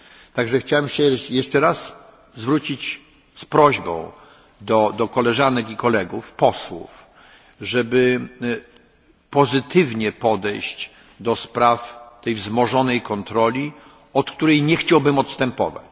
Także chciałem jeszcze raz zwrócić się z prośbą do koleżanek i kolegów posłów, żeby pozytywnie podejść do spraw tej wzmożonej kontroli, od której nie chciałbym odstępować.